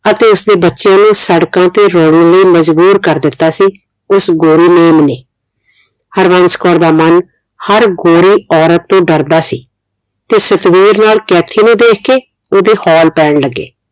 ਅਤੇ ਉਸਦੇ ਬੱਚਿਆਂ ਨੂੰ ਸੜਕਾਂ ਤੇ ਰੋਲਣ ਲਈ ਮਜ਼ਬੁਰ ਕਰ ਦਿੱਤਾ ਸੀ ਉਸ ਗੋਰੀ ਮੇਮ ਨੇ ਹਰਵੰਸ਼ ਕੌਰ ਦਾ ਮਨ ਹਰ ਗੋਰੀ ਔਰਤ ਤੋਂ ਡਰਦਾ ਸੀ ਤੇ ਸਤਵੀਰ ਨਾਲ ਕੈਥੀ ਨੂੰ ਦੇਖ ਕੇ ਉਹਦੇ ਹੋਲ ਪੈਣ ਲੱਗੇ